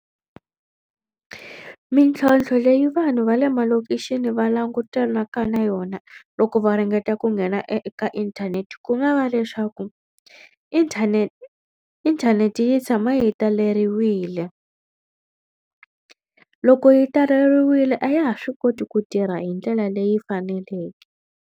Mintlhontlho leyi vanhu va le malokixini va langutanaka na yona loko va ringeta ku nghena eka inthanete ku nga va leswaku inthanete inthanete yi tshama yi taleriwile. Loko yi taleriwile a ya ha swi koti ku tirha hi ndlela leyi faneleke.